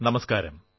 നമസ്കാരം